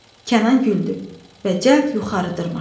Kənan güldü və cəld yuxarı dırmaşdı.